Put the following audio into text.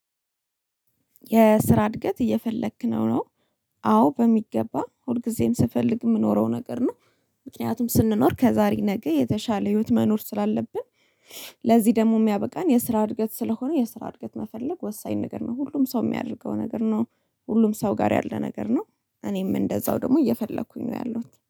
የስራ እድገት እየፈለክ ነው ነው አዎ በሚገባ ሁልጊዜም ስፈልግ የምኖረው ነገር ነው። ምክንያቱም ስንኖር ከዛሬ ነገ የተሻለ ህይወት መኖር ስላለብን። ለዚህ ደግሞ የሚያበቃን የስራ እድገት ስለሆነ የስራ እድገት መፈለግ ወሳኝ ነገር ነው። ሁሉም ሰው የሚያደርገው ነገር ነው። ሁሉም ሰው ጋር ያለ ነገር ነው። እኔም እንደዛው ደግሞ እየፈለኩኝ ነው ያለሁት